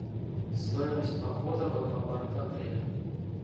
стоимость похода в аквапарк в отеле